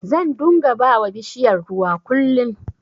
Zan dunga bawa bishiyar ruwa kullin